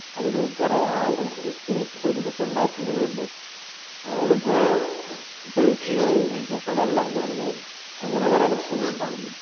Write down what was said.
അതൊരു കുറെ ആവി കയറ്റി ഒരുമിച്ചുണ്ടാക്കുന്നതു കൊണ്ട് അതിനു Taste കുറയും ചിലപ്പോൾ വെള്ളം കൂടുതലായിരിക്കും അങ്ങനെ കുറെ പ്രശ്നങ്ങളുണ്ടായിരിക്കില്ലേ.